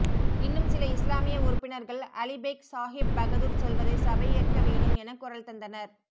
இன்னும் சில இஸ்லாமிய உறுப்பினர்கள் அலிபெய்க் சாஹிப் பகதூர் சொல்வதை சபை ஏற்க வேணும் என குரல் தந்தனர்